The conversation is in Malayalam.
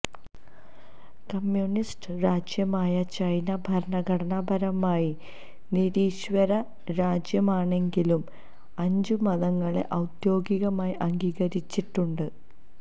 കമ്യൂണിസ്റ്റ് രാജ്യമായ ചൈന ഭരണഘടനാപരമായി നിരീശ്വര രാജ്യമാണെങ്കിലും അഞ്ചു മതങ്ങളെ ഔദ്യോഗികമായി അംഗീകരിച്ചിട്ടുണ്ട്